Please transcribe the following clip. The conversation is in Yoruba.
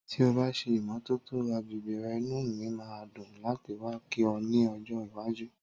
Tí o bá ṣe ìmọ́tótó agbègbè rè inú mi máa dùn láti wá kí ọ ni ojo iwájú